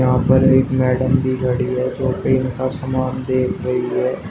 यहां पर एक मैडम भी खड़ी है जो पेंट का सामान ले खड़ी है।